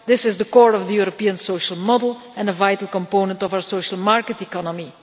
This is the core of the European social model and a vital component of our social market economy.